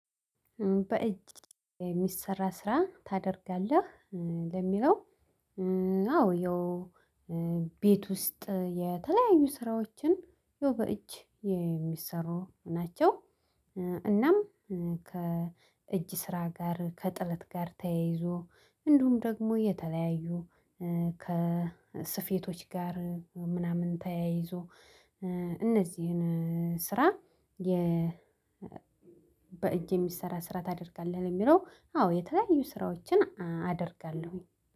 በእጅ የሚሰራ ስራ ታደርጋለህ ለሚለው። አዎ ያው ቤት ውስጥ የተለያዩ ስራዎችን ያው በእጅ የሚሰሩ ናቸው። እናም ከእጅ ስራ ጋር ከጥለት ጋር ተያይዞ እንዲሁም ደግሞ የተለያዩ ከስፌቶች ጋር ምናምን ተያይዞ። እነዚህን ስራ የ በእጅ የሚሰራ ስራ ታደርጋለህ ለሚለው አዎ የተለያዩ ስራዎችን አደርጋለሁ።